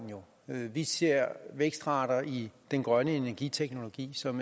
vi ser vækstrater i den grønne energiteknologi som